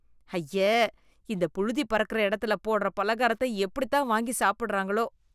அய்ய, இந்த புழுதி பறக்குற எடத்துல போடற பலகாரத்த எப்படித்தான் வாங்கி சாப்பிடறாங்களோ.